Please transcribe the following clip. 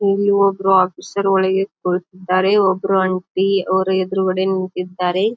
ಇಲ್ಲಿ ಒಬ್ಬರು ಆಫೀಸರ್ ಒಳಗೆ ಕುಳಿತ್ತಿದ್ದಾರೆ ಒಬ್ಬರು ಆಂಟಿ ಅವ್ರ ಎದ್ರುಗಡೆ ನಿಂತಿದ್ದಾರೆ.